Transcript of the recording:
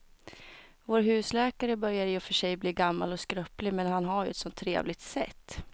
Vår husläkare börjar i och för sig bli gammal och skröplig, men han har ju ett sådant trevligt sätt!